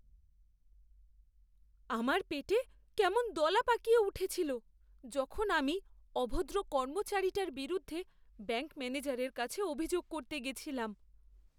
আমার পেটে কেমন দলা পাকিয়ে উঠেছিল যখন আমি অভদ্র কর্মচারীটার বিরুদ্ধে ব্যাঙ্ক ম্যানেজারের কাছে অভিযোগ করতে গেছিলাম।